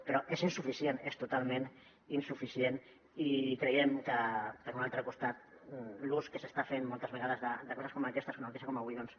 però és insuficient és totalment insuficient i creiem que per un altre costat l’ús que s’està fent moltes vegades de coses com aquestes d’una una notícia com avui doncs